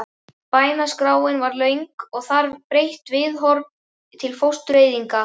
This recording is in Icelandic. Bænaskráin var löng en þarf breytt viðhorf til fóstureyðinga?